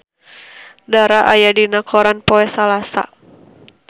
Dara aya dina koran poe Salasa